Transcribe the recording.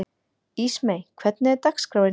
Ísmey, hvernig er dagskráin?